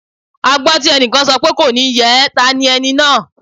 A gbọ́ tí ẹnìkan sọ pé "kò ní yẹ ẹ́" ta ni ẹni náà?